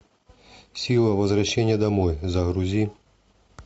сила возвращения домой загрузи